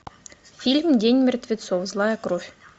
фильм день мертвецов злая кровь